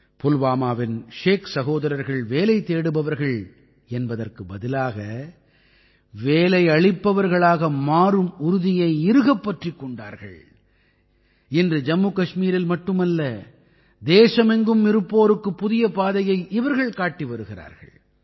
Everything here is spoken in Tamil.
புல்வாமாவின் ஷேக் சகோதரர்கள் வேலை தேடுபவர்கள் என்பதற்கு பதிலாக வேலையளிப்பவர்களாக மாறும் உறுதியை இறுகப் பற்றிக் கொண்டார்கள் இன்று ஜம்முகஷ்மீரில் மட்டுமல்ல தேசமெங்கும் இருப்போருக்குப் புதிய பாதையை இவர்கள் காட்டி வருகிறார்கள்